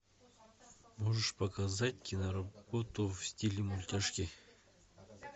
можешь показать киноработу в стиле мультяшки